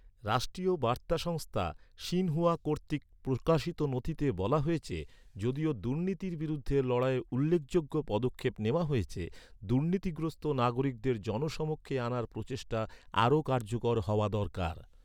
রাষ্ট্রীয় বার্তা সংস্থা, শিনহুয়া কর্তৃক প্রকাশিত নথিতে বলা হয়েছে, যদিও দুর্নীতির বিরুদ্ধে লড়াইয়ে "উল্লেখযোগ্য" পদক্ষেপ নেওয়া হয়েছে, দুর্নীতিগ্রস্ত নাগরিকদের জনসমক্ষে আনার প্রচেষ্টা আরও কার্যকর হওয়া দরকার।